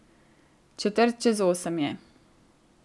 Četrt čez osem je.